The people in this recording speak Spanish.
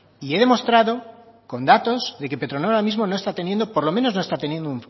y he demostrado con datos de que petronor ahora mismo no está teniendo por lo menos no está teniendo